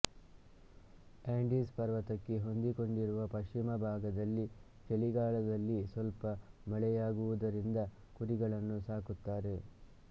Andes ಪರ್ವತಕ್ಕೆ ಹೊಂದಿಕೊಂಡಿರುವ ಪಶ್ಚಿಮ ಭಾಗದಲ್ಲಿ ಚಳಿಗಾಲದಲ್ಲಿ ಸ್ವಲ್ಪ ಮಳೆಯಾಗುವುದರಿಂದ ಕುರಿಗಳನ್ನು ಸಾಕುತ್ತಾರೆ